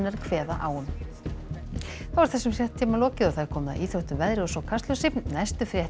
kveða á um þessum fréttatíma er lokið og komið að íþróttum veðri og svo Kastljósi næstu fréttir